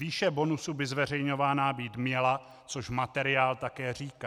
Výše bonusu by zveřejňovaná být měla, což materiál také říká.